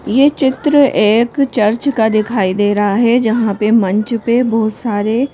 ये चित्र एक--